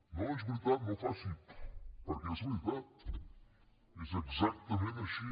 no és veritat no faci pf perquè és veritat és exactament així